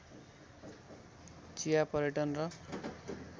चिया पर्यटन र